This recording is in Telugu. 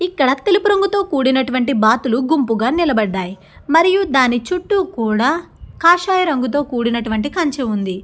ఇక్కడ తెలుపు రంగుతో కూడినటువంటి బాతులు గుంపుగా నిలబడ్డాయి మరియు దాని చుట్టూ కూడా కాషాయ రంగుతో కూడినటువంటి కంచే ఉంది.